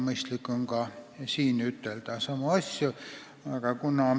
Mõistlik on ka siin samu asju ütelda.